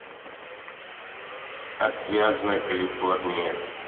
отвязная калифорния